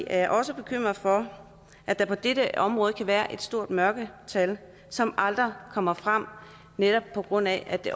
er også bekymret for at der på dette område kan være et stort mørketal som aldrig kommer frem netop på grund af at det